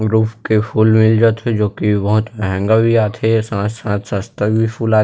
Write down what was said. roof के फूल मिल जा थे जो की बोहोत महँगा भी आ थे साथ - साथ सस्ता भी फूल आ--